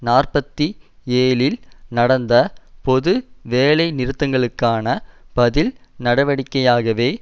நாற்பத்தி ஏழில் நடந்த பொது வேலை நிறுத்தங்களுக்கான பதில் நடவடிக்கையாகவே